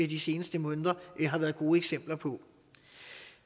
de seneste måneder har været gode eksempler på